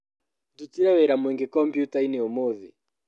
Ndutire wĩra mũingĩ combyutainĩ ũmũthĩ.